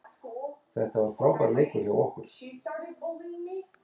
Japönsk hernaðaryfirvöld ákváðu því að auka árásirnar og tóku að auglýsa eftir flugmönnum.